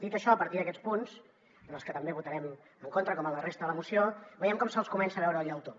dit això a partir d’aquests punts en els que també votarem en contra com en la resta de la moció veiem com se’ls comença a veure el llautó